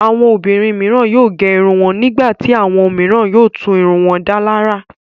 Àwọn obìnrin mìíràn yóò gé irun wọn. Nígbà tí àwọn mìíràn yóò tún irun wọn dá lárà.